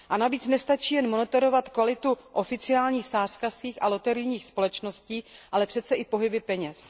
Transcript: A navíc nestačí jenom monitorovat kvalitu oficiálních sázkařských a loterijních společností, ale přece i pohyby peněz.